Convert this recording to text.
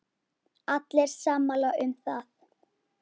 Allir sammála um það.